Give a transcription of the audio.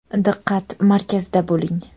Diqqat markazida bo‘ling!